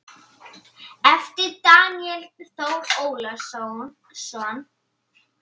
eftir Daníel Þór Ólason